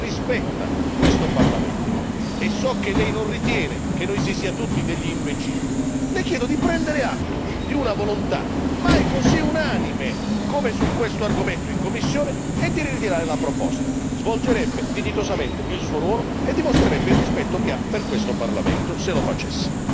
Siccome Commissario, io so che lei è persona che rispetta questo Parlamento e so che lei non ritiene che noi si sia tutti degli imbecilli, le chiedo di prendere atto di una volontà mai così unanime, come su questo argomento in commissione e di ritirare la proposta. Svolgerebbe dignitosamente il suo ruolo e dimostrerebbe il rispetto che ha per questo Parlamento, se lo facesse.